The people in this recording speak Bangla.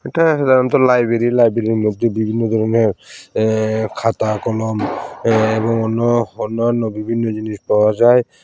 এটা লাইব্রেরী লাইব্রেরীর মধ্যে বিভিন্ন ধরনের আ-খাতা কলম এবং অন্য অন্যান্য বিভিন্ন জিনিস পাওয়া যায়।